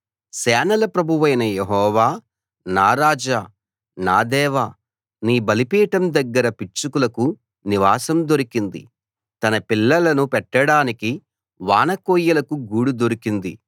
సేనల ప్రభువైన యెహోవా నా రాజా నా దేవా నీ బలిపీఠం దగ్గర పిచ్చుకలకు నివాసం దొరికింది తన పిల్లలను పెట్టడానికి వానకోయిలకు గూడు దొరికింది